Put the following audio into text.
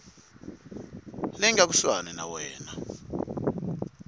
leyi nga kusuhani na wena